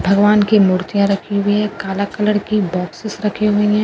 भगवान की मूर्तिया रखी हुई है काला कलर की बॉक्स रखी हुई हैं।